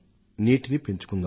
నీటినీ పెంచుకుందాం